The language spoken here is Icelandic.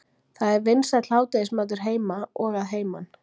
það er vinsæll hádegismatur heima og að heiman